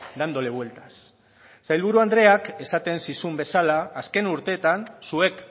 dándole vueltas sailburu andreak esaten zizun bezala azken urteetan zuek